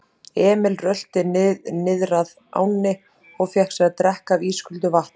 Emil rölti niðrað ánni og fékk sér að drekka af ísköldu vatninu.